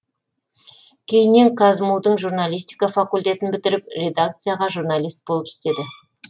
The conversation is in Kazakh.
кейіннен қазму дің журналистика факультетін бітіріп редакцияда журналист болып істеді